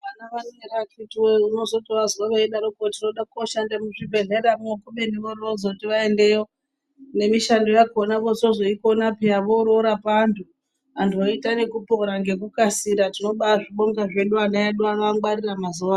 Vana vano vakhitiwoye unotovazwa vachidaroko ,tinoda kooshanda muzvibhedhlera mo kubeni vorozoti vaendeyo, nemishando yakhona voozoikona pheya vororapa antu. Antu anoita nekupora ngekukasira tobazvibonga hedu vana vedu vakangwarira mazuwa ano.